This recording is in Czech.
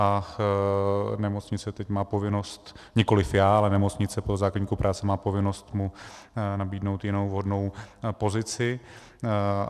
A nemocnice teď má povinnost, nikoliv já, ale nemocnice, podle zákoníku práce má povinnost mu nabídnout jinou vhodnou pozici.